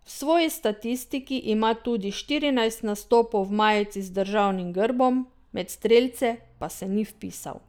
V svoji statistiki ima tudi štirinajst nastopov v majici z državnim grbom, med strelce pa se ni vpisal.